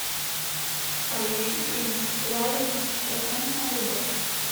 поющий принц реально тысяча процентная любовь